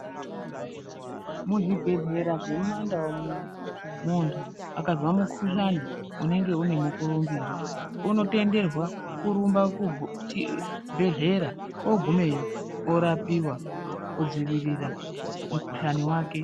Muzvibhedhlera zvemuma ndau munomu muntu akazwa mukuhlani unenge unenge une mukurumbira unotenderwa kurumba kuchibhedhlera ogumayo orapiwa kudzivirira mukuhlani wake.